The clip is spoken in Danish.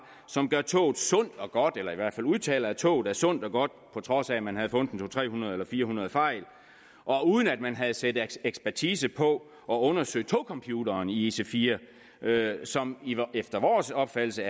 som gør toget sundt og godt eller som i hvert fald udtaler at toget er sundt og godt på trods af at man havde fundet to hundrede nul eller fire hundrede fejl og uden at man havde sat ekspertise på og undersøgt togcomputeren i ic4 som efter vores opfattelse